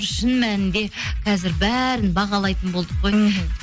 шын мәнінде қазір бәрін бағалайтын болдық қой мхм